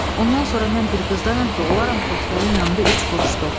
Ondan sonra mən bir qızdan ötrü olaram xotkarın yanında üç quruşluq.